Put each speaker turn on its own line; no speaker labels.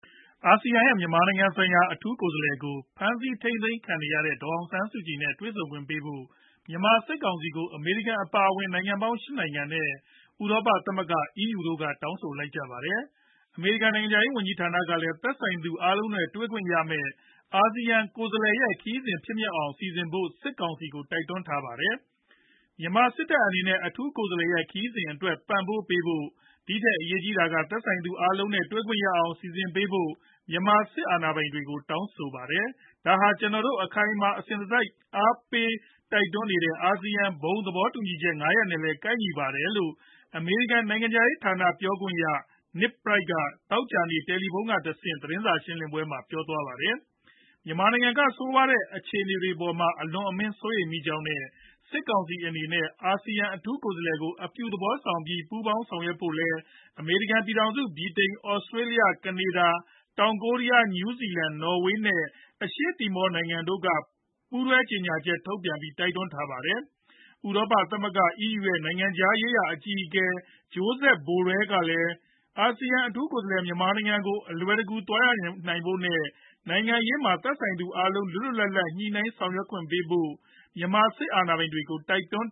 အာဆီယံရဲ့ မြန်မာနိုင်ငံဆိုင်ရာ အထူးကိုယ်စားလှယ်ကို ဖမ်းဆီးထိန်းသိမ်းခံနေရတဲ့ ဒေါ်အောင်ဆန်းစုကြည်နဲ့ တွေ့ဆုံခွင့်ပေးဖို့ မြန်မာစစ်ကောင်စီကို အမေရိကန် အပါအဝင် နိုင်ငံပေါင်း ၈ နိုင်ငံနဲ့ ဥရောပသမဂ္ဂ (EU) တို့က တောင်းဆိုလိုက်ကြပါတယ်။ အမေရိကန် နိုင်ငံခြားရေး ဝန်ကြီးဌာနကလည်း သက်ဆိုင်သူတွေ အားလုံးနဲ့ တွေ့ခွင့်ရမယ့် အာဆီယံ ကိုယ်စားလှယ်ရဲ့ ခရီးစဉ် ဖြစ်မြောက်အောင် စီစဉ်ဖို့ စစ်ကောင်စီကို တိုက်တွန်းခဲ့တာပါ။ “မြန်မာစစ်တပ်အနေနဲ့ အထူးကိုယ်စားလှယ်ရဲ့ ခရီးစဉ်အတွက် ပံ့ပိုးပေးဖို့၊ ဒီထက်အရေးကြီးတာက သက်ဆိုင်သူတွေ အားလုံးနဲ့ တွေ့ခွင့်ရအောင် စီစဉ်ပေးဖို့ မြန်မာစစ်အာဏာပိုင်တွေကို တောင်းဆိုပါတယ်။ ဒါဟာ ကျနော်တို့ အခိုင်အမာ၊ အစဉ်တစိုက် အားပေးတိုက်တွန်းနေတဲ့ (အာဆီယံ) ဘုံသဘောတူညီချက် ၅ ရပ်နဲ့လည်း ကိုက်ညီပါတယ်။” လို့ အမေရိကန် နိုင်ငံခြားရေးဌာန ပြောခွင့်ရ Ned Price က သောကြာနေ့ တယ်လီဖုန်းကတဆင့် သတင်းစာ ရှင်းလင်းရာမှာ ပြောဆိုသွားတာပါ။ မြန်မာနိုင်ငံက ဆိုးဝါးတဲ့အခြေအနေတွေအပေါ်မှာ အလွန်အမင်းစိုးရိမ်မိကြောင်းနဲ့ စစ်ကောင်စီအနေနဲ့ အာဆီယံ အထူးကိုယ်စားလှယ်ကို အပြုသဘောဆောင်ပြီး ပူးပေါင်းဆောင်ရွက်ဖို့လည်း အမေရိကန် ပြည်ထောင်စု၊ ဗြိတိန်၊ သြစတေးလျ၊ ကနေဒါ၊ တောင်ကိုးရီယား၊ နယူးဇီလန်၊ နော်ဝေး နဲ့ အရှေ့တီမော နိုင်ငံတို့က ပူးတွဲကြေညာချက်ထုတ်ပြန်တိုက်တွန်းထားပါတယ်။ ဥရောပသမဂ္ဂ EU ရဲ့ နိုင်ငံခြားရေးရာအကြီးအကဲ Josep Borrell ကလည်း အာဆီယံ အထူးကိုယ်စားလှယ် မြန်မာနိုင်ငံကို အလွယ်တကူ သွားရောက်နိုင်ဖို့နဲ့ နိုင်ငံရေးမှာ သက်ဆိုင်သူအားလုံးနဲ့ လွတ်လွတ်လပ်လပ် ညှိနှိုင်းဆောင်ရွက်ခွင့်ပေးဖု့ိ မြန်မာစစ်အာဏာပိုင်တွေကို တိုက်တွန်း